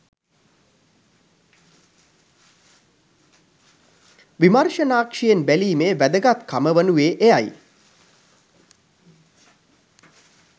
විමර්ෂණාක්ෂියෙන් බැලීමේ වැදගත්කම වනුයේ එයයි